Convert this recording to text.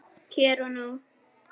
Hér og nú.